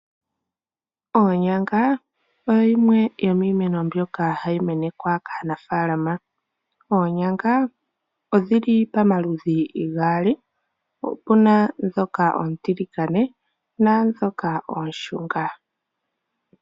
Onyanga oyo yimwe yomiimeno mbyoka hayi menekwa kaanafaalama. Oonyanga odhili pamaludhi gaali. Opuna ndhoka oontiligane naandhoka oonshunga.